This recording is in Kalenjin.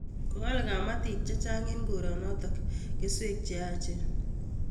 Ko al kapatik chechang' eng' koronotok keswek che yaachen